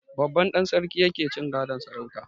Babban ɗan sarki yake cin gadon sarautar.